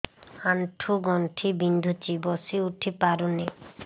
ଆଣ୍ଠୁ ଗଣ୍ଠି ବିନ୍ଧୁଛି ବସିଉଠି ପାରୁନି